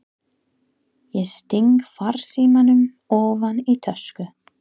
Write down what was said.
Ég sting farsímanum ofan í tösku.